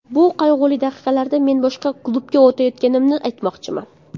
Bu qayg‘uli daqiqalarda men boshqa klubga o‘tayotganimni aytmoqchiman.